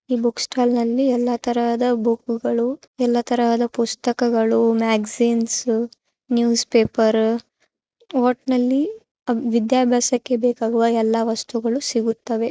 ಈ ಬುಕ್ಸ್ಟಾಲ್ನ ಲ್ಲಿ ಎಲ್ಲಾ ತರಹದ ಬುಕ್ಗಳು ಎಲ್ಲಾ ತರದ ಪುಸ್ತಕಗಳು ಮ್ಯಾಗಝೀನ್ಸ್ ನ್ಯೂಸ್ಪಪೇರು ಒಟ್ನಲ್ಲಿ ವಿದ್ಯಾಭ್ಯಾಸಕ್ಕೆ ಬೇಕಾಗುವ ಎಲ್ಲಾ ವಸ್ತುಗಳು ಸಿಗುತ್ತವೆ.